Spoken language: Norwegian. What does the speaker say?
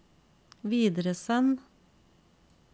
videresend